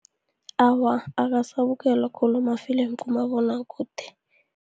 Awa, akasabukelwa khulu amafilimu kumabonwakude.